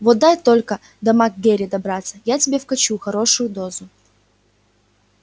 вот дай только до мак гэрри добраться я тебе вкачу хорошую дозу